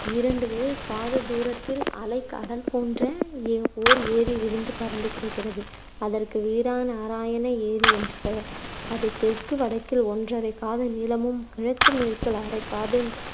இரண்டு காததூரத்தில், அலை கடல் போன்ற ஓர் ஏரி விரிந்து பரந்து கிடக்கிறது. அதற்கு வீரநாராயண ஏரி என்று பெயர். அது தெற்கு வடக்கில் ஒன்றரைக் காத நீளமும் கிழக்கு மேற்கில் அரைக் காத